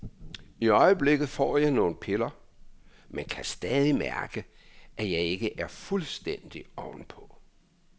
I øjeblikket får jeg nogle piller, men kan stadig mærke, at jeg ikke er fuldstændig ovenpå.